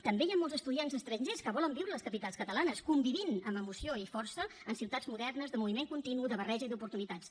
també hi ha molts estudiants estrangers que volen viure a les capitals catalanes convivint amb emoció i força en ciutats modernes de moviment continu de barreja i d’oportunitats